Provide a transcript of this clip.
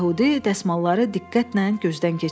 Yəhudi dəsmalları diqqətlə gözdən keçirdi.